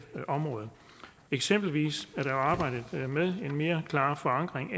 område eksempelvis er der jo arbejdet med en mere klar forankring